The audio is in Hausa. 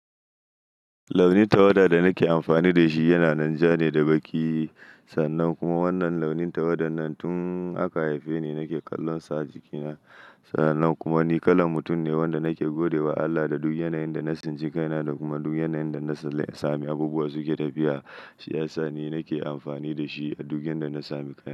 Launin tawada da nake amfani da shi yanan jane da baƙi. Sannan kuma wannan launin tawada nan tun aka haife ni nake kallon sa jikina. Sannan kuma ni kalan mutum ne wanda nake gode wa Allah da duk yanayin da na tsinci kaina da kuma duk yanayin da na sami abubuwa suke tafiya. Shi yasa ni nake amfani da shi a duk yanda na sami kaina.